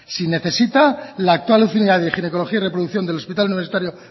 si necesita la actual unidad de ginecología y reproducción del hospital universitario